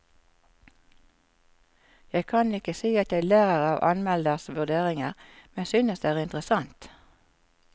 Jeg kan ikke si at jeg lærer av anmelderes vurderinger, men synes det er interessant.